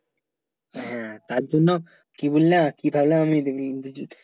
হ্যাঁ তার জন্য কি বললা কি ভাবলে আমি ইংরেজী